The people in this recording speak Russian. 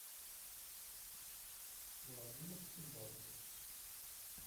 владимирский запись